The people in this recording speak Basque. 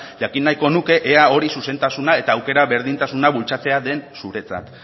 jakin nahiko nuke ea hori zuzentasuna eta aukera berdintasuna bultzatzea den zuretzat